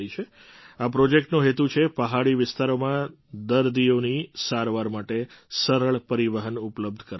આ પ્રૉજેક્ટનો હેતુ છે પહાડી વિસ્તારોમાં દર્દીઓની સારવાર માટે સરળ પરિવહન ઉપલબ્ધ કરાવવું